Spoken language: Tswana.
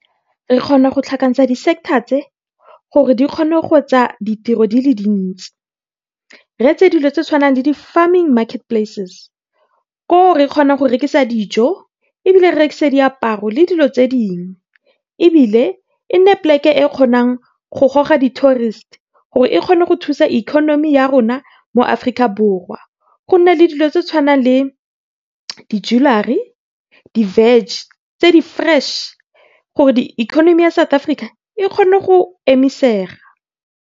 Re kgona go tlhakantsha di sector tse gore dikgone go etsa ditiro di le dintsi. Re etse dilo tse tshwanang le di farming market places koo re kgonang go rekisa dijo, ebile re rekise le diaparo le dilo tse dingwe. Ebile e nne plek-e e e kgonang go goga di tourist gore e kgone go thusa ikonomi ya rona mo Aforika Borwa. Go nne le dilo tse tshwanang le di jewellery, di veg tse di fresh gore ikonomi ya South Africa e kgone go emisega.